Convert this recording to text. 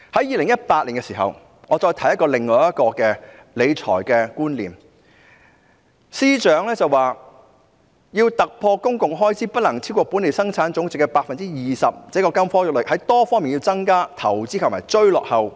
2018年，我聽到另一個理財觀念，司長說要突破公共開支不能超過本地生產總值 20% 的金科玉律，要在多方面增加投資和追落後。